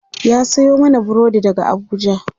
ya Sayo mana burodi daga Abuja